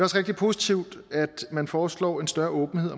rigtig positivt at man foreslår en større åbenhed